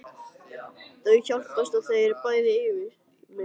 Þau hjálpast að og eru bæði yfirsmiðir.